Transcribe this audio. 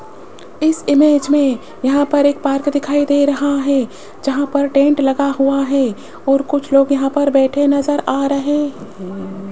इस इमेज में यहां पर एक पार्क दिखाई दे रहा है जहां पर टेंट लगा हुआ है और कुछ लोग यहां पर बैठे नज़र आ रहे हैं।